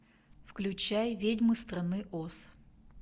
включай ведьмы страны оз